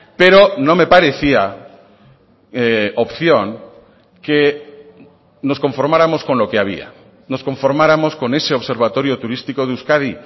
pero no me parecía opción que nos conformáramos con lo que había nos conformáramos con ese observatorio turístico de euskadi